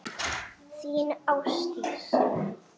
Þín, Ásdís.